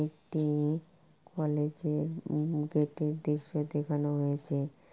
একটি-ই কলেজ -এর উম গেট -এর দৃশ্য দেখানো হয়েছে।